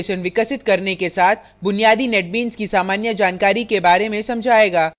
यह tutorial आपको web applications विकसित करने के साथ बुनियादी netbeans की सामान्य जानकारी के बारे में समझायेगा